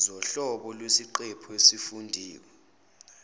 zohlobo lwesiqephu esifundiwe